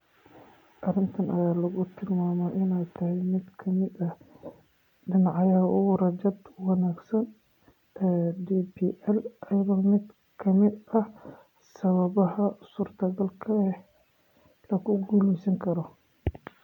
Arrintan ayaa lagu tilmaamay inay tahay mid ka mid ah dhinacyada ugu rajada wanaagsan ee DPL, iyo mid ka mid ah sababaha suurtagalka ah ee lagu guuleysan karo.